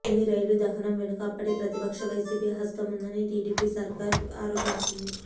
తుని రైలు దహనం వెనుక అప్పటి ప్రతిపక్ష వైసీపీ హస్తం ఉందని టీడీపీ సర్కారు ఆరోపించింది